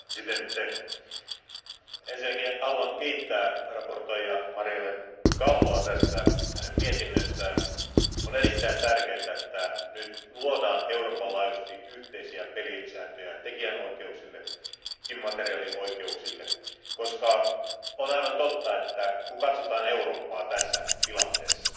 Arvoisa puhemies, ensinnäkin haluan kiittää esittelijä Marielle Galloa hänen mietinnöstään. On erittäin tärkeää, että nyt luodaan Euroopan laajuisesti yhteisiä pelisääntöjä tekijänoikeuksille, immateriaalioikeuksille, koska on aivan totta, että kun katsotaan Eurooppaa tässä tilanteessa,